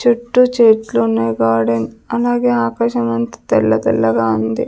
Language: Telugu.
చుట్టూ చెట్లున్నాయ్ గార్డెన్ అలాగే ఆకాశం అంతా తెల్ల తెల్లగా ఉంది.